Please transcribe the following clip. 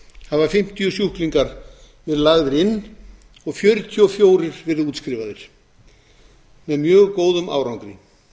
hafa fimmtíu sjúklingar verið lagðir inn og fjörutíu og fjögur verið útskrifaðir með mjög góðum árangri